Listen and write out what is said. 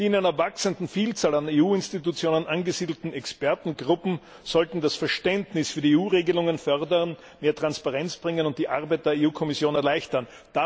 Die in einer wachsenden Vielzahl an EU Institutionen angesiedelten Expertengruppen sollten das Verständnis für die EU Regelungen fördern, mehr Transparenz bringen und die Arbeit der Kommission erleichtern.